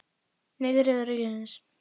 Nei, til Þriðja ríkisins.